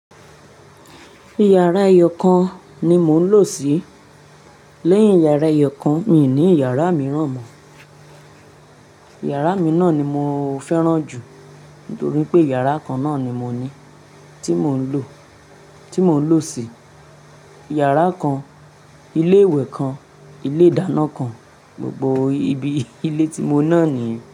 Yàrá ẹyọ̀kan ni mò ń lò sí. Lẹ́yìn yàrá ẹyọ̀kan mi i ní yàrá mìíràn mọ́. Yàrá mi náà ni mo fẹ́ràn jù nítorí pé yàrá kan náà ni mo ní, tí mò ń lò, tí mò ń lò sí. Yàrá kan, ilé ìwẹ̀ kan, ilé ìdáná kan, gbogbo ibi ilé ti mo náà nìyen.